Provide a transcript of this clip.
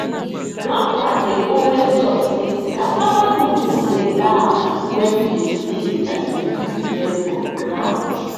grandpa dey always talk sey cassava roots dey laugh when you dey sing as you dey remove dem from ground